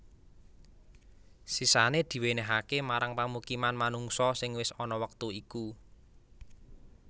Sisané diwènèhaké marang pamukiman manungsa sing wis ana wektu iku